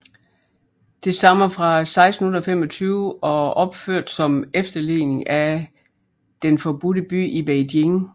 Det stammer fra 1625 og opført som efterligning af Den Forbudte By i Beijing